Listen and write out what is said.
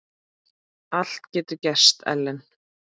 Allt getur gerst, Ellen.